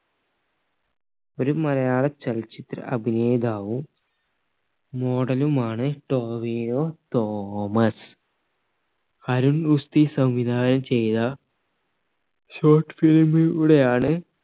ഒരു മലയാള ചലച്ചിത്ര അഭിനേതാവു model മാണ് ടോവിനോ തോമസ് അരുൺ ഗുസ്തി സംവിധാനം ചെയ്ത shortfilm ലൂടെ ആണ്